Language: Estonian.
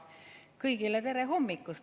Kõigile tere hommikust!